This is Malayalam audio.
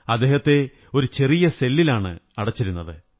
അദ്ദേഹത്തെ ഒരു ചെറിയ സെല്ലിലാണ് അടച്ചിരുന്നത്